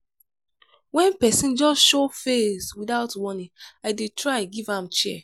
wen pesin just show face witout warning i dey try give am chair.